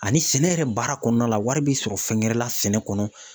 Ani sɛnɛ yɛrɛ baara kɔnɔna la wari bi sɔrɔ fɛngɛrɛ la sɛnɛ kɔnɔ